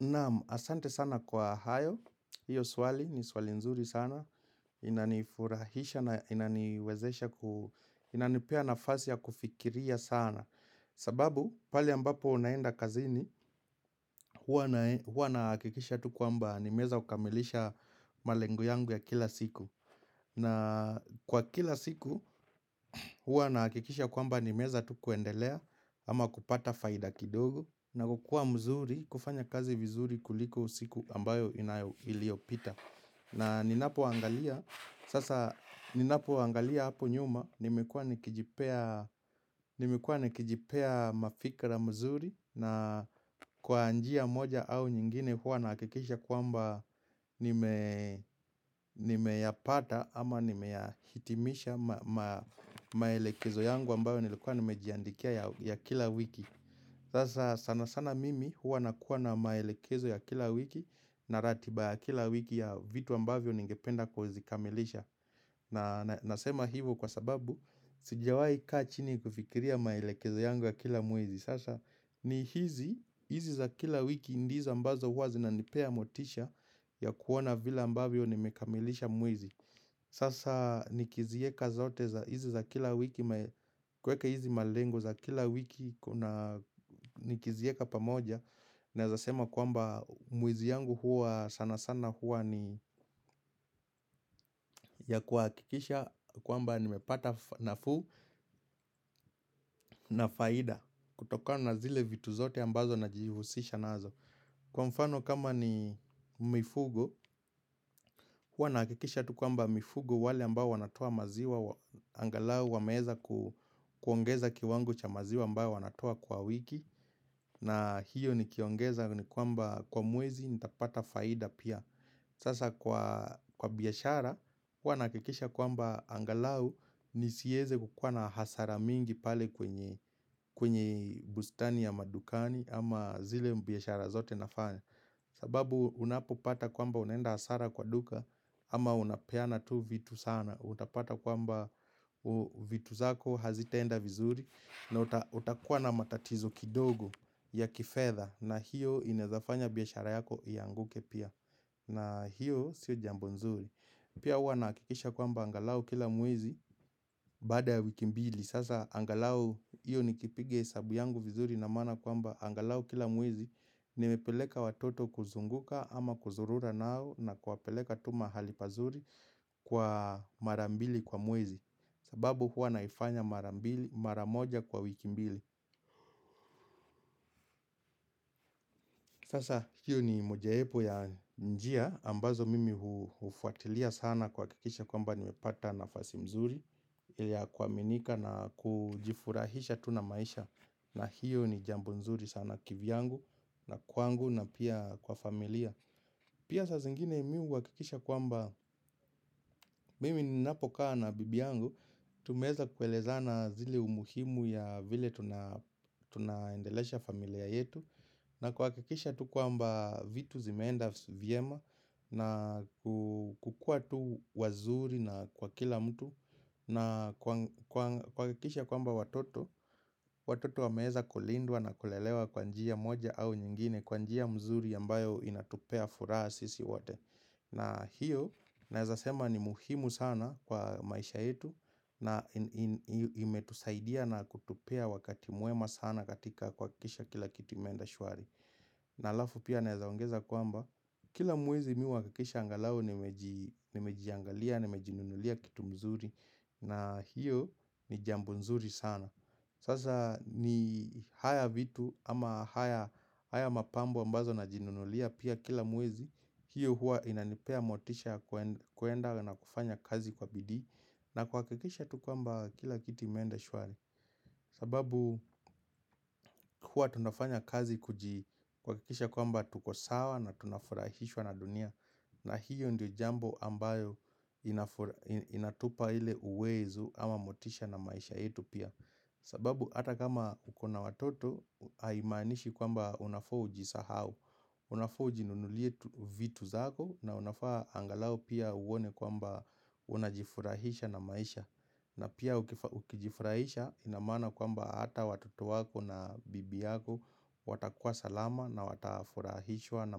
Naam asante sana kwa hayo, hiyo swali ni swali nzuri sana, inanifurahisha na inaniwezesha, inanipea nafasi ya kufikiria sana sababu pale ambapo unaenda kazini, hua na hakikisha tu kwamba ni meweza kukamilisha malengo yangu ya kila siku na kwa kila siku hua na hakikisha kwamba nimeweza tu kuendelea ama kupata faida kidogo na kukua mzuri, kufanya kazi vizuri kuliko siku ambayo iliopita na ninapo angalia, sasa ninapo angalia hapo nyuma Nimekua nikijipea mafikra mzuri na kwa anjia moja au nyingine hua nakikisha kuamba Nimeyapata ama nimeyahitimisha maelekezo yangu ambayo nilikuwa nimejiandikia ya kila wiki Sasa sana sana mimi huwa nakuwa na maelekezo ya kila wiki na ratiba ya kila wiki ya vitu ambavyo ningependa kuzikamilisha na nasema hivo kwa sababu sijawai ka chini kufikiria maelekezo yangu ya kila mwezi Sasa ni hizi, hizi za kila wiki ndizo hizi ambazo huwa zinanipea motisha ya kuona vila ambavyo nimekamilisha mwezi Sasa nikizieka zote za hizi za kila wiki kweka hizi malengo za kila wiki kuna nikizieka pamoja Naezasema kwamba mwezi yangu huwa sana sana huwa ni ya kuakikisha kwamba nimepata nafu na faida kutoka na zile vitu zote ambazo najihusisha nazo Kwa mfano kama ni mifugo, hua nahakikisha tu kwamba mifugo wale ambayo wanatoa maziwa, angalau wameeza kuongeza kiwango cha maziwa ambayo wanatoa kwa wiki, na hiyo nikiongeza ni kwamba kwa mwezi nitapata faida pia. Sasa kwa biashara, wana kikisha kwamba angalau nisieze kukua na hasara mingi pale kwenye bustani ya madukani ama zile biyashara zote nafanya. Sababu unapopata kwamba unaenda hasara kwa duka ama unapeana tu vitu sana. Utapata kwamba vitu zako hazitaenda vizuri na utakuwa na matatizo kidogo ya kifedha na hiyo inezafanya biyashara yako ianguke pia. Na hiyo sio jambo nzuri. Pia wanahakikisha kwamba angalau kila mwezi bada wikimbili. Sasa angalau hiyo nikipiga hesabu yangu vizuri na mana kwamba angalau kila muwezi nimepeleka watoto kuzunguka ama kuzurura nao na kuwapeleka tuma halipazuri kwa marambili kwa muwezi. Sababu huwa naifanya mara moja kwa wiki mbili Sasa hiyo ni mojaepo ya njia ambazo mimi hufuatilia sana kuhakikisha kwamba nimepata nafasi mzuri ya kuaminika na kujifurahisha tu na maisha na hiyo ni jambo mzuri sana kiviangu na kwangu na pia kwa familia Pia sasa zingine mihuakikisha kwamba mimi napokaa na bibiangu Tumeeza kuelezana zile umuhimu ya vile tunaendelesha familia yetu na kuhakikisha tu kwamba vitu zimenda viema na kukua tu wazuri na kwa kila mtu na kwa kikisha kwamba watoto Watoto wameeza kulindwa na kulelewa kwa njia moja au nyingine Kwa njia mzuri ambayo inatupea furaha sisi wate na hiyo naeza sema ni muhimu sana kwa maisha yetu na imetusaidia na kutupea wakati muema sana katika kuhakikisha kila kitu imeenda shuari na halafu pia nezaongeza kwamba Kila mwezi miwanahakikisha angalau nimejiangalia, nimejinunulia kitu mzuri na hiyo ni jambo mzuri sana Sasa ni haya vitu ama haya mapambo ambazo najinunulia pia kila muwezi hiyo hua inanipea motisha kuenda na kufanya kazi kwa bidii na kuhakikisha tukwamba kila kitu imeenda shwari sababu kwa tunafanya kazi kujii kuhakikisha kwamba tukosawa na tunafurahishwa na dunia na hiyo ndio jambo ambayo inatupa ile uwezu ama motisha na maisha yetu pia sababu ata kama ukona watoto haimanishi kwamba unafaa uji sahau Unafaa uji nunulie vitu zako na unafaa angalau pia uone kwamba unajifurahisha na maisha na pia ukijifraisha inamana kwamba hata watoto wako na bibi yako watakuwa salama na watafurahishwa na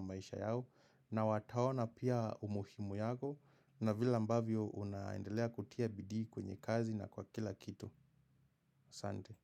maisha yao na watawona pia umuhimu yako na vile ambavyo unaendelea kutia bidi kwenye kazi na kwa kila kitu. Sante.